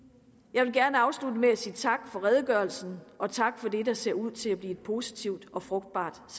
jeg vil gerne afslutte med at sige tak for redegørelsen og tak for det der ser ud til at blive et positivt og frugtbart